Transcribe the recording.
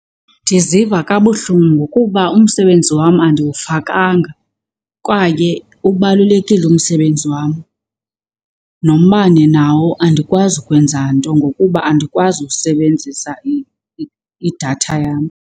Ndiziva kabuhlungu kuba umsebenzi wam andiwufakanga kwaye ubalulekile umsebenzi wam. Nombane nawo andikwazi ukwenza nto ngokuba andikwazi ukusebenzisa idatha yam.